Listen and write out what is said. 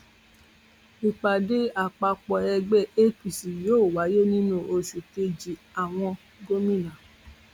ìpàdé àpapọ ẹgbẹ apc yóò wáyé nínú oṣù kejìàwọn gómìnà